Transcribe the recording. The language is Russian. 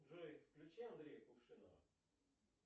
джой включи андрея кувшинова